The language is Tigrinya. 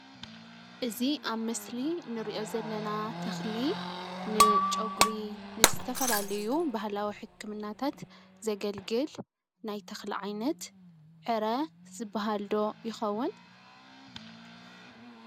እዚ ኣብ ምስሊ እንሪኦ ዘለና ተኽሊ ንጨጉሪ ንዝተፈላለዩ ባህላዊ ሕክምናታት ዘገልግል ናይ ተኽሊ ዓይነት ዕረ ዝብሃል ዶ ይኸዉን?